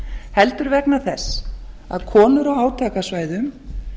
heldur vegna þess að konur á átakasvæðum